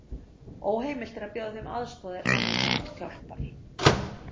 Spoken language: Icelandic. Óheimilt er að bjóða þeim aðstoð er þannig þarfnast hjálpar.